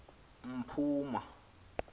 mpuma